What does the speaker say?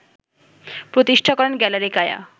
প্রতিষ্ঠা করেন ‘গ্যালারি কায়া’